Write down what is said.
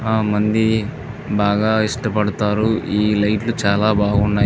చాలామంది బాగా ఇష్టపడతారు ఈ లైట్ లు చాలా బాగున్నాయి.